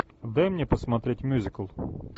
дай мне посмотреть мюзикл